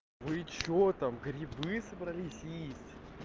вы чего там грибы собрались есть